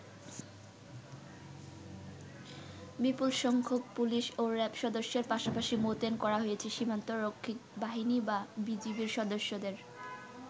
বিপুল সংখ্যক পুলিশ ও র‍্যাব সদস্যের পাশাপাশি মোতায়েন করা হয়েছে সীমান্তরক্ষী বাহিনী বা বিজিবির সদস্যদের।